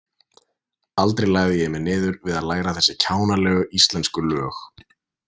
Aldrei lagði ég mig niður við að læra þessi kjánalegu íslensku lög.